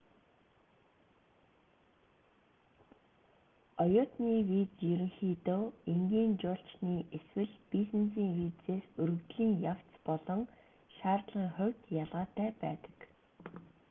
оюутны виз ерөнхийдөө энгийн жуулчны эсвэл бизнесийн визээс өргөдлийн явц болон шаардлагын хувьд ялгаатай байдаг